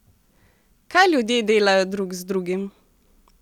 Kaj ljudje delajo drug z drugim?